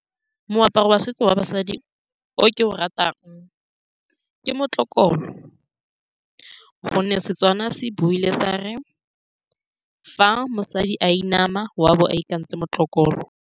Moaparo wa setso wa basadi o ke o ratang ke motlokolo, ka gonne Setswana se buile sa re, fa mosadi a inama wa bo a itekantse motlokolo.